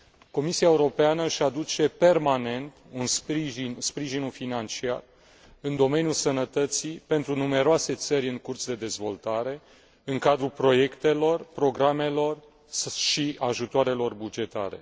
Comisia Europeană își aduce permanent sprijinul financiar în domeniul sănătății pentru numeroase țări în curs de dezvoltare, în cadrul proiectelor, programelor și ajutoarelor bugetare.